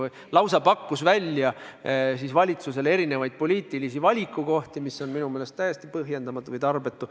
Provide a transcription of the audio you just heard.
Ta lausa pakkus valitsusele välja erinevaid poliitilisi valikukohti, mis on minu meelest täiesti põhjendamatu või tarbetu.